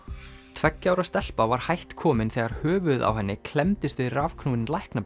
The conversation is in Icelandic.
tveggja ára stelpa var hætt komin þegar höfuðið á henni klemmdist við rafknúinn